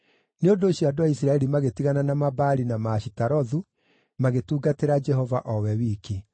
Nĩ ũndũ ũcio andũ a Isiraeli magĩtigana na Mabaali na Maashitarothu, magĩtungatĩra Jehova o we wiki.